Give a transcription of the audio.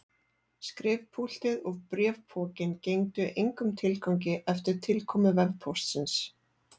Skrifpúltið og bréfpokinn gengdu engum tilgangi eftir tilkomu vefpóstsins.